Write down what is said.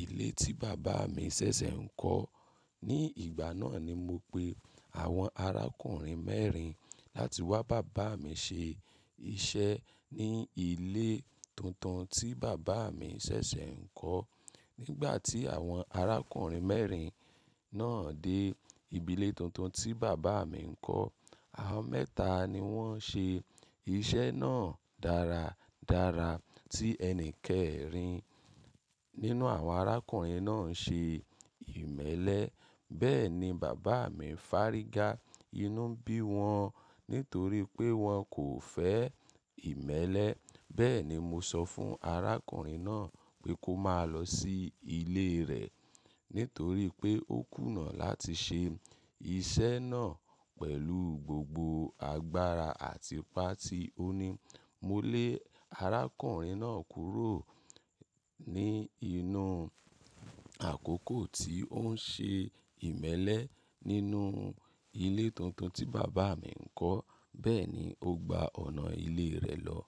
ilé tí bàbá mi ṣẹ̀ṣẹ̀ ń kọ́. Ní ìgbà náà ni mo pe àwọn arákùnrin mẹ́rin láti wá bá bàbá mi ṣe iṣẹ́ ní ilé tuntun tí bàbá mi ṣẹ̀ṣẹ̀ ń kọ́. Nígbà tí àwọn arákùnrin mẹ́rin náà dé ibi ilé tuntun tí bàbá mi ń kọ́, àwọn mẹ́ta ni wọ́n ṣe iṣẹ́ náà dáradára, tí ẹni kẹ́rin nínú àwọn arákùnrin náà ṣe ìmẹ́lẹ́. Bẹ́ẹ̀ ni bàbá mi fárígá inú bí wọn nítorí pé wọn kò fẹ́ ìmẹ́lẹ́. Bẹ́ẹ̀ ni mo sọ fún arákùnrin náà pé kó máa lọ sí ilé rẹ̀ nítorí pé ó kùnà láti ṣe iṣẹ́ náà pẹ̀lú gbogbo agbára àti ipá tí ó ní. Mo lé arákùnrin náà kúrò ní inú àkókò tí ó ń ṣe ìmẹ́lẹ́ nínú ilé tuntun tí bàbá mi ń kọ́. Bẹ́ẹ̀ ni ó gba ọ̀nà ilé rẹ̀ lọ.